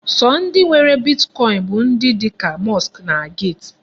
Sọ ndị nwere Bitkọin bụ ndị dị ka Musk na Gate.